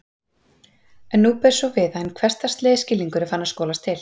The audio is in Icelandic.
En nú ber svo við að hinn hversdagslegi skilningur er farinn að skolast til.